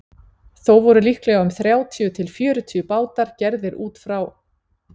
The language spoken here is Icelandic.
Þó voru líklega um þrjátíu til fjörutíu bátar gerðir út frá